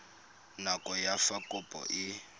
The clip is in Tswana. nako ya fa kopo e